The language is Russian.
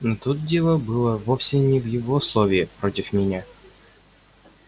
но тут дело было вовсе не в его слове против меня